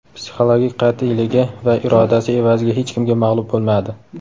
psixologik qat’iyligi va irodasi evaziga hech kimga mag‘lub bo‘lmadi .